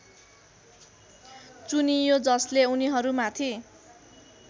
चुनियो जसले उनीहरूमाथि